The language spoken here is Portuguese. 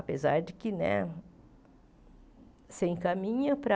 Apesar de que né se encaminha para...